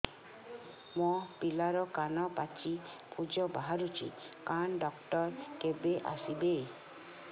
ମୋ ପିଲାର କାନ ପାଚି ପୂଜ ବାହାରୁଚି କାନ ଡକ୍ଟର କେବେ ଆସିବେ